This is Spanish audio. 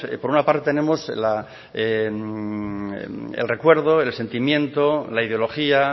por una parte tenemos el recuerdo el sentimiento la ideología